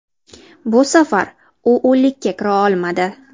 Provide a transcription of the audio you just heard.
Bu safar u o‘nlikka kira olmadi.